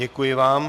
Děkuji vám.